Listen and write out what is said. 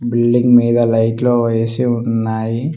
Building మీద light లో వేసి ఉన్నాయి.